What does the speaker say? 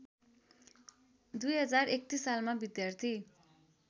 २०३१ सालमा विद्यार्थी